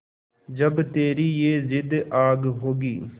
जब तेरी ये जिद्द आग होगी